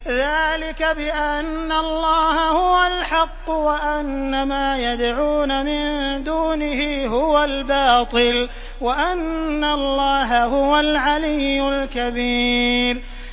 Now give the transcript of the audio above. ذَٰلِكَ بِأَنَّ اللَّهَ هُوَ الْحَقُّ وَأَنَّ مَا يَدْعُونَ مِن دُونِهِ هُوَ الْبَاطِلُ وَأَنَّ اللَّهَ هُوَ الْعَلِيُّ الْكَبِيرُ